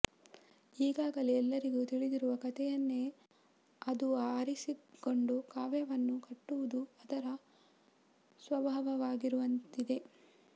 ಈಗಾಗಲೇ ಎಲ್ಲರಿಗೂ ತಿಳಿದಿರುವ ಕಥೆಯನ್ನೇ ಅದು ಆರಿಸಿಕೊಂಡು ಕಾವ್ಯವನ್ನು ಕಟ್ಟುವುದು ಅದರ ಸ್ವಭಾವವಾಗಿರುವಂತಿದೆ